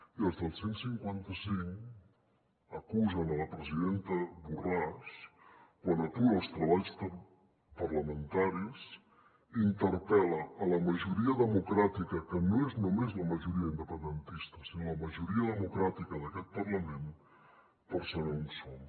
i els del cent i cinquanta cinc acusen la presidenta borràs quan atura els treballs parlamentaris i interpel·la la majoria democràtica que no és només la majoria independentista sinó la majoria democràtica d’aquest parlament per saber on som